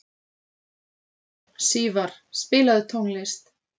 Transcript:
Sívar, spilaðu tónlist.